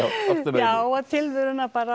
já og tilveruna bara